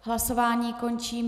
Hlasování končím.